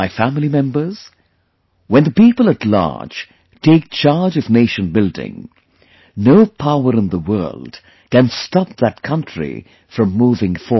My family members, when the people at large take charge of nation building, no power in the world can stop that country from moving forward